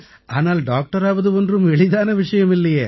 ஆனால் டாக்டராவது ஒன்றும் எளிதான விஷயம் இல்லையே